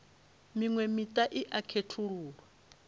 miṅwe miṱa i a khethululwa